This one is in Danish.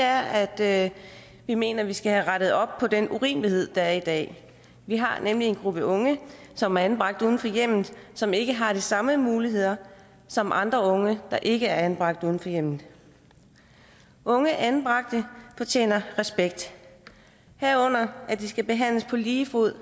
at vi mener at vi skal have rettet op på den urimelighed der er i dag vi har nemlig en gruppe unge som er anbragt uden for hjemmet og som ikke har de samme muligheder som andre unge der ikke er anbragt uden for hjemmet unge anbragte fortjener respekt herunder at de skal behandles på lige fod